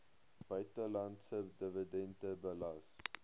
buitelandse dividende belas